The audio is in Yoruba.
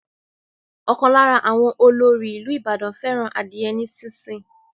Ókan lára àwọn ọlóòrì ìlú Ìbàdàn fẹràn adiye ní sísìn.